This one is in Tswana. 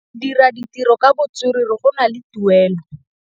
Go dira ditirô ka botswerere go na le tuelô.